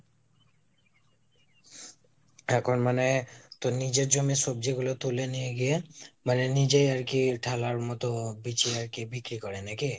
এখন মানে তোর নিজের জমির সবজি গুলো তুলে নিয়ে গিয়ে মানে নিজেই আরকি থালার মতো বিছিয়ে আরকি বিক্রি করে নাকি?